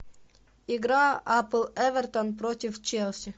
игра апл эвертон против челси